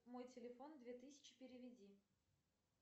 мой телефон две тысячи переведи